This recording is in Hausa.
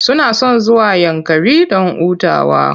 Shekarun baya mutane suna son zuwa Yankari don hutawa.